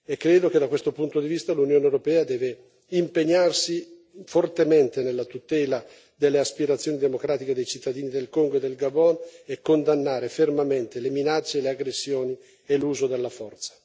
Credo che, da questo punto di vista, l'Unione europea debba impegnarsi fortemente nella tutela delle aspirazioni democratiche dei cittadini del Congo e del Gabon e condannare fermamente le minacce, le aggressioni e l'uso della forza.